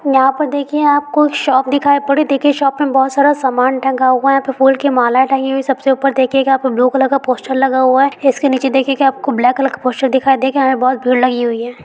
यहाँ पर देखिए आपको एक शॉप दिखाई पर पड़रही है। देखिए शॉप में बहुत सारा सामान टंगा हुआ है। यहाँ पे फूल की मालाऐं टंगी हुई है। सबसे ऊपर देखिएगा यहाँ पर ब्लू कलर का पोस्टर लगा हुआ है। इसके निचे की देखिये आपको ब्लैक कलर का पोस्टर दिखाई दे रहा है। यहाँ में बहोत भीड़ लगी हुई है।